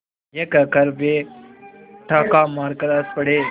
यह कहकर वे ठहाका मारकर हँस पड़े